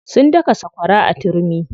Sun daka sakwara da turmi.